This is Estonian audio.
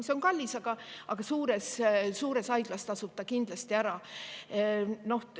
See on kallis, aga suures haiglas tasub kindlasti ära.